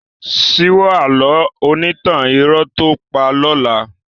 Síwọ́ àlọ́ onítàn irọ́ tó ǹ pa lọ́la.